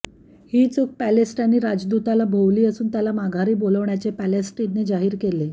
ही चूक पॅलेस्टिनी राजदूताला भोवली असून त्याला माघारी बोलवण्याचे पॅलेस्टिनने जाहीर केले